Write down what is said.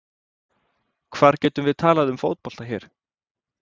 Hvar getum við talað um fótbolta hér?